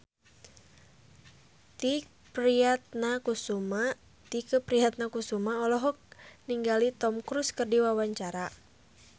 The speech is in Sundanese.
Tike Priatnakusuma olohok ningali Tom Cruise keur diwawancara